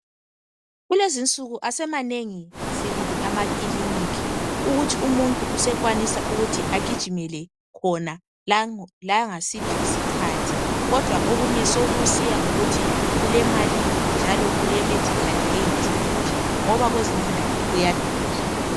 Kulezinsuku asemanengi sibili amakilinika, ukuthi umuntu usekwanisa ukuthi agijimele khona langasiphi isikhathi, kodwa okunye sekusiya ngokuthi ulemalini njalo ule medical aid iphi ngoba kwezinye indawo kuyadula.